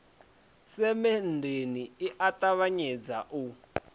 semenndeni i a ṱavhanyedza u